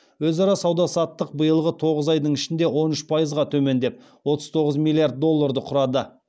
өзара сауда саттық биылғы тоғыз айдың ішінде он үш пайызға төмендеп отыз тоғыз миллиард долларды құрады